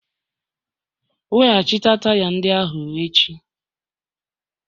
Weghachite taya ndị ahụ echi!